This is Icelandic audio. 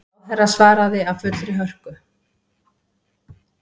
Ráðherra svaraði af fullri hörku.